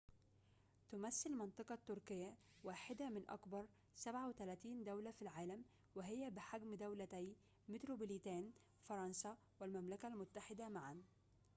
تمثل منطقة تركيا واحدة من أكبر 37 دولة في العالم وهي بحجم دولتي متروبوليتان فرنسا والمملكة المتحدة معاً